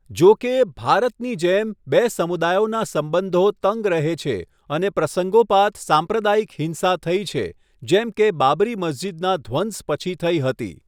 જો કે, ભારતની જેમ, બે સમુદાયોના સંબંધો તંગ રહે છે અને પ્રસંગોપાત સાંપ્રદાયિક હિંસા થઈ છે, જેમ કે બાબરી મસ્જિદના ધ્વંસ પછી થઈ હતી.